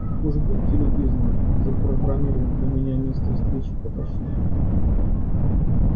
уж будьте любезны запрограммировать для меня место встречи поточнее